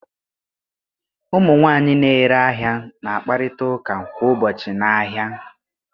Ụmụ nwanyị na-ere ahịa na-akparịta ụka kwa ụbọchị n'ahịa.